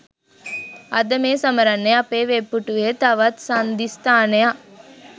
අද මේ සමරන්නේ අපේ වෙබ් පිටුවේ තවත් සංදිස්ථානයක්